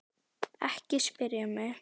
Ekki spyrja mig.